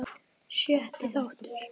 Sjötti þáttur